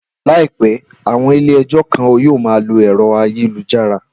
Làìpé, àwọn ilé ẹjọ́ kan yóò ma lo ẹ̀rọ ayélujára